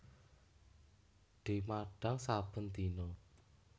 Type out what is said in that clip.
Dimadhang saben dina